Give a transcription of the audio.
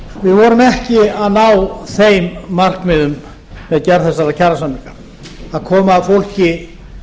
vorum ekki að ná þeim markmiðum með gerð þessara kjarasamninga að koma fólki